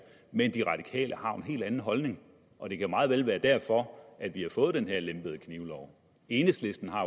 men de radikale har jo en helt anden holdning og det kan meget vel være derfor at vi har fået den her lempede knivlov enhedslisten har